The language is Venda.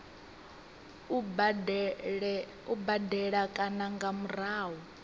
u badela kana nga murahu